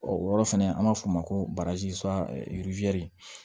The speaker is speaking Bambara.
o yɔrɔ fɛnɛ an b'a f'o ma ko barzi